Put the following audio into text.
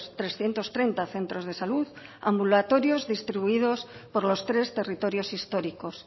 trescientos treinta centros de salud ambulatorios distribuidos por los tres territorios históricos